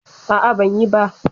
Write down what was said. A'a, ban yi ba